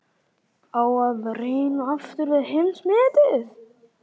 Á að reyna aftur við heimsmetið?